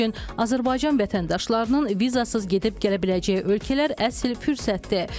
Azərbaycan vətəndaşlarının vizasız gedib gələ biləcəyi ölkələr əsil fürsətdir.